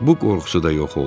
bu qorxusu da yox oldu.